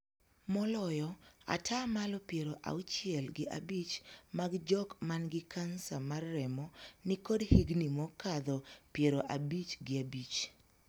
Moloyo ataa malo piero auchiel gi abich mag jok man gi Kansa mar remo ni kod higni mokadho piero abich gi abich.